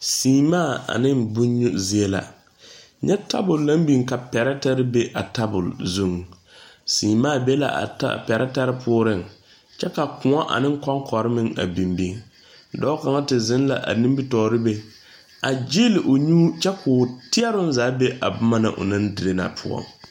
Semaa ane bon nyu zie la. Nyɛ tabul na biŋ ka pɛrɛtɛre be a tabul zuŋ. Semaa be la a ta, a pɛrɛtɛre poʊreŋ. Kyɛ ka koɔ ane konkore meŋ a biŋbiŋ. Dɔɔ kanga te zeŋ la a nimitooreŋ be a gyieli o nyu kyɛ k'o teɛroŋ zaa be a boma na o naŋ dire a poʊ.